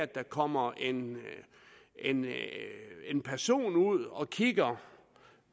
der kommer en en person ud og kigger